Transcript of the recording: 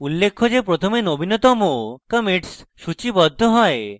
উল্লেখ্য যে প্রথমে নবীনতম commits সূচীবদ্ধ হয়